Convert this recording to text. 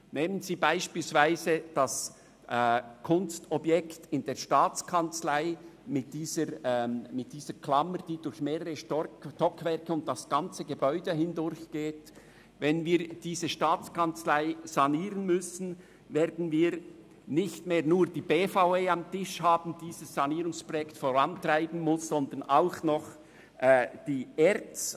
Betrachten Sie beispielsweise das Kunstobjekt in der Staatskanzlei mit dieser Klammer, die durch mehrere Stockwerke und das ganze Gebäude hindurchführt: Wenn wir die Staatskanzlei sanieren müssen, werden wir nicht nur die BVE am Tisch haben, die dieses Sanierungsprojekt vorantreiben muss, sondern zusätzlich die ERZ.